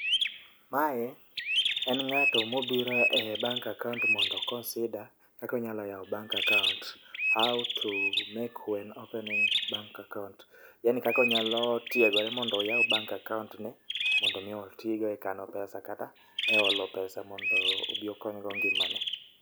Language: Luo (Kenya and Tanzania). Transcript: Mae en ng'ato mobiro e bank account mondo o consider kakonyalo yawo bank account. How to make when opening bank account. Yani kakonyalo tiegore mondo oyaw bank account ni mondo mi otigo e kano pesa kata e olo pesa mondo obi okonygo ngima ne.